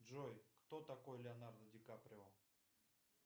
джой кто такой леонардо ди каприо